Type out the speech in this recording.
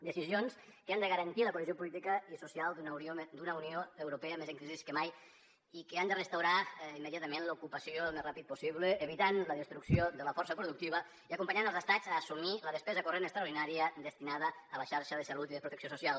decisions que han de garantir la cohesió política i social d’una unió europea més en crisi que mai i que han de restaurar immediatament l’ocupació el més ràpid possible evitar la destrucció de la força productiva i acompanyar els estats a assumir la despesa corrent extraordinària destinada a la xarxa de salut i de protecció social